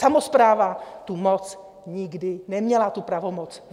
Samospráva tu moc nikdy neměla, tu pravomoc.